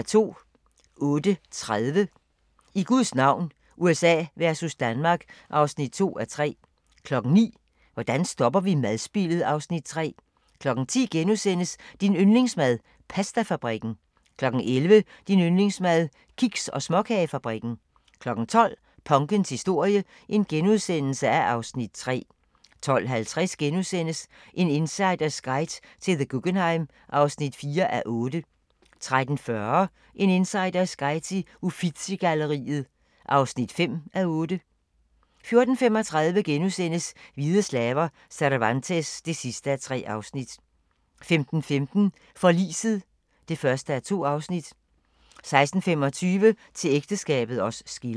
08:30: I Guds navn – USA versus Danmark (2:3) 09:00: Hvordan stopper vi madspildet? (Afs. 3) 10:00: Din yndlingsmad: Pastafabrikken * 11:00: Din yndlingsmad: Kiks- og småkagefabrikken 12:00: Punkens historie (Afs. 3)* 12:50: En insiders guide til The Guggenheim (4:8)* 13:40: En insiders guide til Uffizi-galleriet (5:8) 14:35: Hvide slaver – Cervantes (3:3)* 15:15: Forliset (1:2) 16:25: Til ægteskabet os skiller